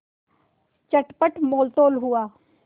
चटपट मोलतोल हुआ